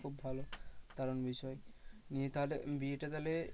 খুব ভালো দারুন বিষয়। নিয়ে তাহলে বিয়েটা তাহলে